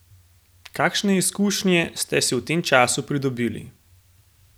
Kakšne izkušnje ste si v tem času pridobili?